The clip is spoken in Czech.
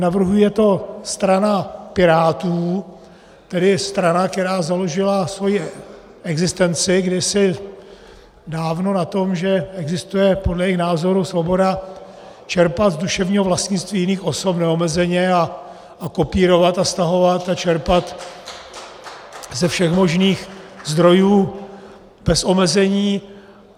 Navrhuje to strana Pirátů, tedy strana, která založila svoji existenci kdysi dávno na tom, že existuje podle jejich názoru svoboda čerpat z duševního vlastnictví jiných osob neomezeně a kopírovat a stahovat a čerpat ze všech možných zdrojů bez omezení.